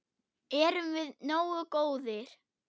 Erum við nógu góðir?